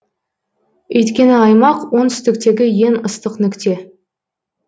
өйткені аймақ оңтүстіктегі ең ыстық нүкте